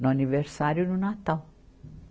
No aniversário e no Natal.